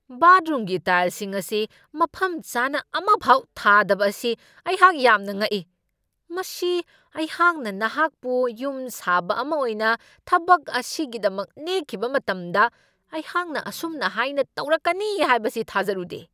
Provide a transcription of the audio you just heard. ꯕꯥꯠꯔꯨꯝꯒꯤ ꯇꯥꯏꯜꯁꯤꯡ ꯑꯁꯤ ꯃꯐꯝ ꯆꯥꯅ ꯑꯃꯐꯥꯎ ꯊꯥꯗꯕ ꯑꯁꯤ ꯑꯩꯍꯥꯛ ꯌꯥꯝꯅ ꯉꯛꯏ ! ꯃꯁꯤ ꯑꯩꯍꯥꯛꯅ ꯅꯍꯥꯛꯄꯨ ꯌꯨꯝꯁꯥꯕ ꯑꯃ ꯑꯣꯏꯅ ꯊꯕꯛ ꯑꯁꯤꯒꯤꯗꯃꯛ ꯅꯦꯛꯈꯤꯕ ꯃꯇꯝꯗ ꯑꯩꯍꯥꯛꯅ ꯑꯁꯨꯝꯍꯥꯏꯅ ꯇꯧꯔꯛꯀꯅꯤ ꯍꯥꯏꯕꯁꯤ ꯊꯥꯖꯔꯨꯗꯦ ꯫